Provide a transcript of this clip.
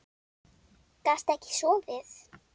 Gastu ekki sofið?